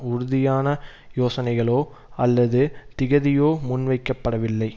உறுதியான யோசனைகளோ அல்லது திகதியோ முன்வைக்கப்படவில்லை